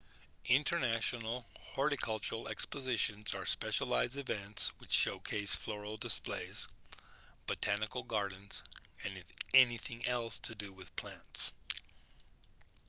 international horticultural expositions are specialised events which showcase floral displays botanical gardens and anything else to do with plants